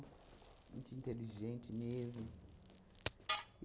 Muito inteligente mesmo.